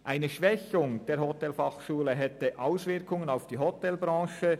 Eine Schwächung der Hotelfachschule Thun hätte Auswirkungen auf die Hotelbranche.